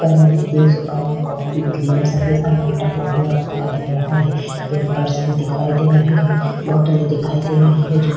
पर मेंहदी सुपारी कॉफ़ी क्रीम सभी सामान टंगा हुआ दिखाई दे रहा है पेम्पेर्स भी दिखाई दे रहै है बौटले दिखाई दे रही है जोकि --